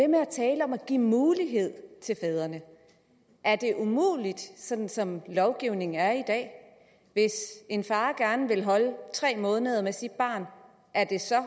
med at tale om at give mulighed til fædrene er det umuligt sådan som lovgivningen er i dag hvis en far gerne vil holde tre måneders orlov med sit barn er det så